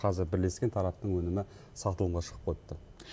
қазір бірлескен тараптың өнімі сатылымға шығып қойыпты